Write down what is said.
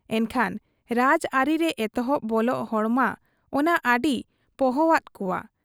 ᱮᱱᱠᱷᱟᱱ ᱨᱟᱡᱽ ᱟᱹᱨᱤ ᱨᱮ ᱮᱛᱚᱦᱚᱵ ᱵᱚᱞᱚᱜ ᱦᱚᱲᱢᱟ ᱚᱱᱟ ᱟᱹᱰᱤ ᱯᱚᱦᱚᱣᱟᱫ ᱠᱚᱣᱟ ᱾